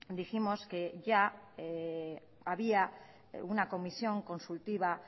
dijimos que ya había una comisión consultiva